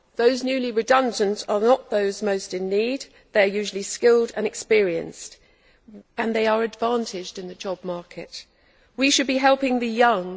Those newly redundant are not those most in need they are usually skilled and experienced and they are advantaged in the job market. We should be helping the young.